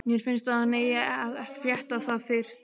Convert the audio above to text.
Mér finnst að hann eigi að frétta það fyrst.